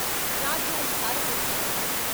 రాజ్యాలు ధారపోస్తా మన్నారు.